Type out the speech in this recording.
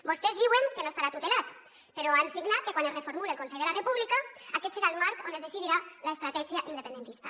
vostès diuen que no estarà tutelat però han signat que quan es reformule el consell de la república aquest serà el marc on es decidirà l’estratègia independentista